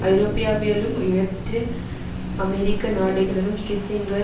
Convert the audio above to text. ஐரோப்பியாவியலும் இலத்தீன் அமெரிக்க நாடுகளிலும் கிஸ்ஸிங்கர்